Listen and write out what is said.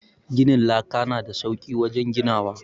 Gidan laka na da sauki wajen ginawa.